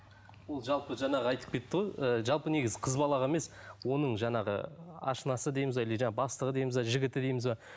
ол жалпы жаңағы айтып кетті ғой ы жалпы негізі қыз балаға емес оның жаңағы ашынасы дейміз бе или жаңа бастығы дейміз бе жігіті дейміз бе